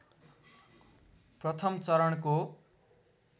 प्रथम चरणको